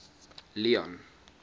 leone